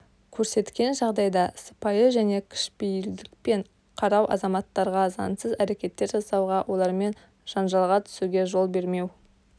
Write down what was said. көрсеткен жағдайда сыпайы және кішіпейілдікпен қарау азаматтарға заңсыз әрекеттер жасауға олармен жанжалға түсуге жол бермеу